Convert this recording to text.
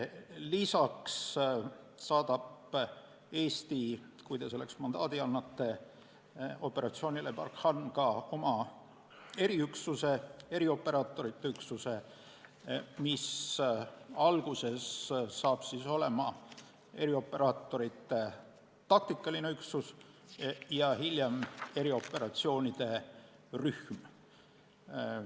Lisaks saadab Eesti – kui te selleks mandaadi annate – operatsioonile Barkhane ka oma eriüksuse, erioperaatorite üksuse, mis on alguses erioperaatorite taktikaline üksus ja hiljem erioperatsioonide rühm.